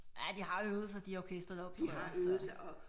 Ja de har øvet sig de orkestre der optræder så